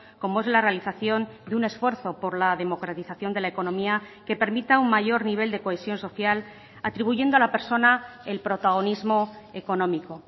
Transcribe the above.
como es la realización de un esfuerzo por la democratización de la economía que permita un mayor nivel de cohesión social atribuyendo a la persona el protagonismo económico